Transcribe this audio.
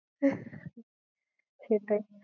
সেটাই